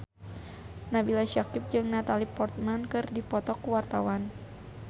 Nabila Syakieb jeung Natalie Portman keur dipoto ku wartawan